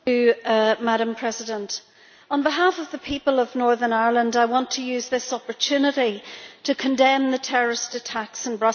Madam President, on behalf of the people of Northern Ireland, I want to use this opportunity to condemn the terrorist attacks in Brussels.